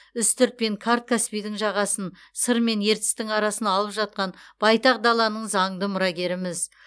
үстірт пен қарт каспийдің жағасын сыр мен ертістің арасын алып жатқан байтақ даланың заңды мұрагеріміз